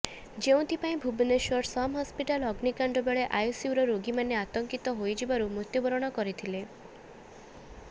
ଯେଉଁଥିପାଇଁ ଭୁବନେଶ୍ୱର ସମ୍ ହସ୍ପିଟାଲ୍ ଅଗ୍ନିକାଣ୍ଡ ବେଳେ ଆଇସିୟୁର ରୋଗୀମାନେ ଆତଙ୍କିତ ହୋଇଯିବାରୁ ମୃତ୍ୟୁବରଣ କରିଥିଲେ